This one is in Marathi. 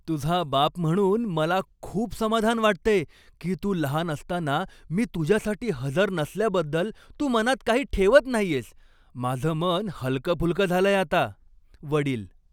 तुझा बाप म्हणून मला खूप समाधान वाटतंय की तू लहान असताना मी तुझ्यासाठी हजर नसल्याबद्दल तू मनात काही ठेवत नाहीयेस. माझं मन हलकंफुलकं झालंय आता. वडील